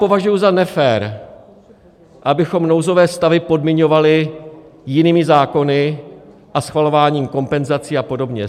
Považuji za nefér, abychom nouzové stavy podmiňovali jinými zákony a schvalováním kompenzací a podobně.